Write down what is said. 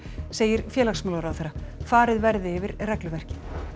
segir félagsmálaráðherra farið verði yfir regluverkið